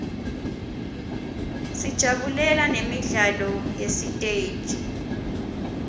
sijabulela nemidlalo yesiteji